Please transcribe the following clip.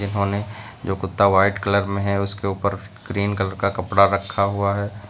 उन्होंने जो कुत्ता व्हाइट कलर मे है उसके ऊपर ग्रीन कलर का कपड़ा रखा है।